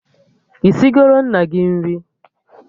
Isigoro nna gị nri?